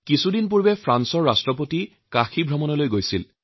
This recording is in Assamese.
কিছুদিন আগতে ফ্ৰান্সৰ ৰাষ্ট্ৰপতি কাশীলৈ গৈছিল